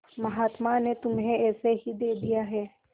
महात्मा ने तुम्हें ऐसे ही दे दिया है